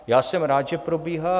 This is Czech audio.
Já jsem rád, že probíhá.